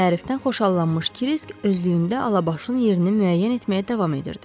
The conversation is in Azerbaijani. Tərifdən xoşallanmış Kirisk özlüyündə Alabaşın yerini müəyyən etməyə davam edirdi.